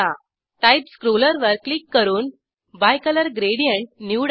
type स्क्रोलवर click करून bicolour gradient निवडा